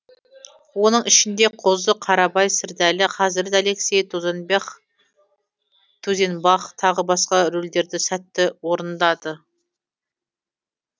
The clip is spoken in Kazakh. оның ішінде қозы қарабай сердәлі хазірет алексей тузенбах тағы басқа рөлдерді сәтті орындады